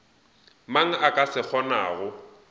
mang a ka se kgonago